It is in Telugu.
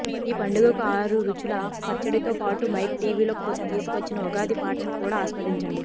ఈ పండుగకు ఆరు రుచుల పచ్చడితో పాటు మైక్ టీవీ తీసుకొచ్చిన ఉగాది పాటను కూడా ఆస్వాదించండి